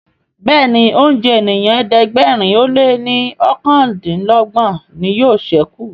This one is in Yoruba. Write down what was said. Béèni oúnjẹ ènìyàn ẹ̀ẹ́dẹ̀gbẹ̀rin o lẹ ní okàndinlogbon ní yóò sẹku.